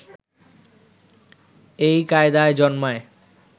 এই কায়দায় জন্মায়